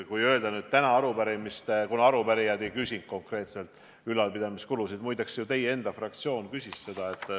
Muide, teie enda fraktsioon ju esitas arupärimise.